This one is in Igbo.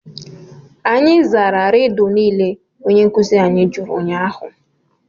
Anyị zara Rịdụ niile onye nkuzi jụrụ ụnyahụ